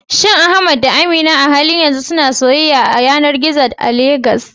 Shin Ahmad da Amina a halin yanzu suna soyayya ta yanar gizo a Legas?